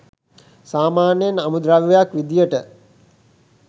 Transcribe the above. සාමාන්‍යයෙන් අමුද්‍රව්‍යක් විදියට